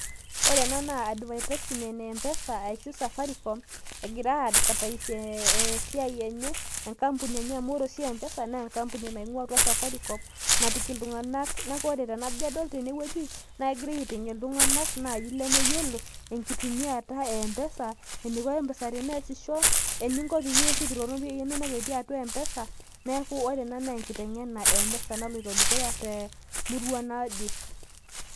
ore ena naa advertisement e mpesa ashu safaricom egira ai advertise esiiai enye, enkampuni enye amu ore oshi mpesa naa enkampuni natii atua safaricom napik iltunganak. neeku ore tenajo adol tene wueji, naa kegirae aitengen iltunganak naaji lemeyiolo, enkitumiata e mpesa eneiko mpesa peesisho, ore ena naa enkitengena e mpesa naloito dukuya temurua naje.